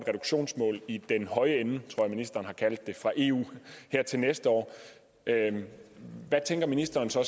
reduktionsmål i den høje ende tror jeg ministeren har kaldt det fra eu til næste år hvad ministeren så